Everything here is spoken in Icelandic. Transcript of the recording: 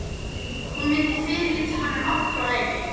Hún myndi fyrirlíta hann um aldur og ævi!